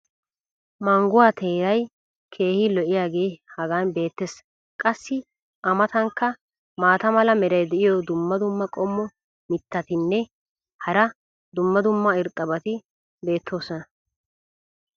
mangguwaa teeray keehi lo'iyaagee hagan beetees. qassi a matankka maata mala meray diyo dumma dumma qommo mitattinne hara dumma dumma irxxabati de'oosona.